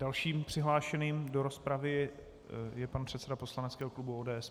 Dalším přihlášeným do rozpravy je pan předseda poslaneckého klubu ODS.